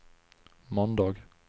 måndag